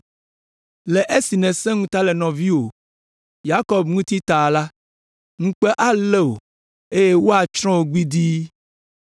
Le esi nèsẽ ŋuta le nɔviwò Yakob ŋuti ta la, ŋukpe alé wò eye woatsrɔ̃ wò gbidii.